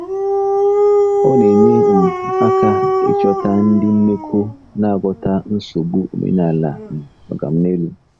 Ọ na-enye um aka ịchọta ndị mmekọ na-aghọta nsogbu omenala um “oga m n'elu.”